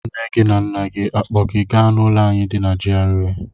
Nne na nna gị akpọga gị n'ụlọ anyị di na GRA?